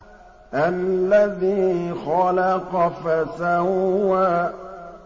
الَّذِي خَلَقَ فَسَوَّىٰ